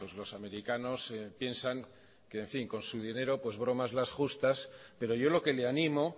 los americanos piensan que en fin con su dinero bromas las justas pero yo lo que le animo